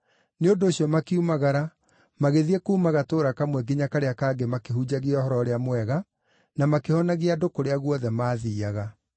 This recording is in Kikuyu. Nĩ ũndũ ũcio makiumagara magĩthiĩ kuuma gatũũra kamwe nginya karĩa kangĩ makĩhunjagia Ũhoro-ũrĩa-Mwega na makĩhonagia andũ kũrĩa guothe maathiiaga.